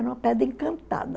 Era uma pedra encantada.